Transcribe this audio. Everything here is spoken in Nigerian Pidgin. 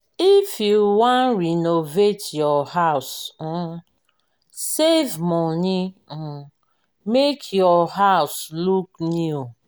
if you wan renovate your house um save money um make your house look new